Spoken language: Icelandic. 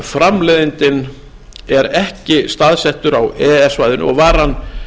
þegar framleiðandinn er ekki staðsettur á e e s svæðinu og varan